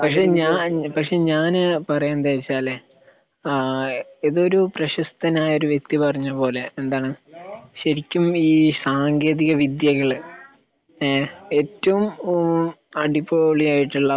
പക്ഷേ ഞാൻ പക്ഷേ ഞാൻ പറയുന്നത് എന്താന്ന് വെച്ച് കഴിഞ്ഞാല് ആഹ് ഇതൊരു പ്രശക്തനായ ഒരു വ്യക്തി പറഞ്ഞ പോലെ എന്താണ് ശെരിക്കും ഈ സാങ്കേന്തിക വിദ്യകള് ഏഹ് ഏറ്റവും അടി പൊളിയായിട്ടുള്ള